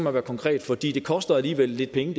at høre konkret fordi forslaget koster alligevel lidt penge